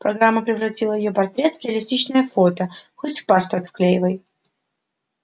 программа превратила её портрет в реалистичное фото хоть в паспорт вклеивай